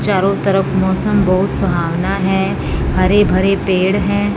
चारों तरफ मौसम बहुत सुहावना है हरे भरे पेड़ हैं।